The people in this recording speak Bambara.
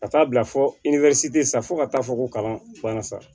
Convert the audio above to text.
Ka taa bila fo sa fo ka taa fɔ ko kalan banna sa